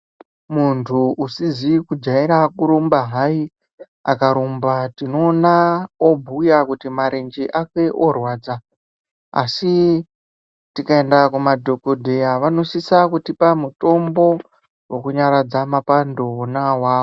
Muntu usizi kujaira kurumba hayi akarumba tinoona obhuya kuti marenje ake orwadza . Asi tikaende kumadhogodheya vanosisa kutipa mutombo wokunyaradza mapando ona awawo.